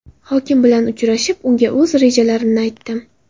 Hokim bilan uchrashib, unga o‘z rejalarimni aytdim.